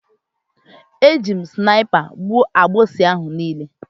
Eji m snaipa gbụo agbusi ahụ niile